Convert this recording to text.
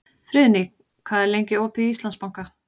Friðný, hvað er lengi opið í Íslandsbanka?